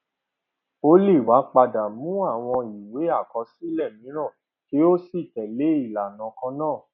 ó lè wá padà mú àwọn ìwé àkọsílẹ mìíràn kí ó sì tẹlẹ ìlànà kan náà